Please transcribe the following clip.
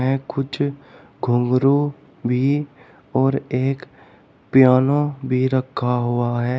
कुछ घुंघरू भी और एक पियानो भी रखा हुआ है।